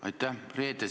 Aitäh!